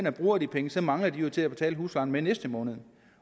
og bruger de penge så mangler de jo til at betale huslejen med næste måned